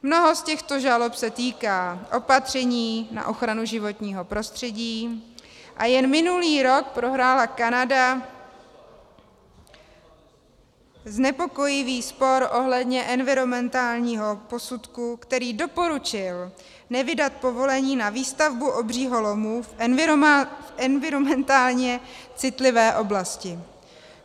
Mnoho z těchto žalob se týká opatření na ochranu životního prostředí a jen minulý rok prohrála Kanada znepokojivý spor ohledně environmentálního posudku, který doporučil nevydat povolení na výstavbu obřího lomu v environmentálně citlivé oblasti.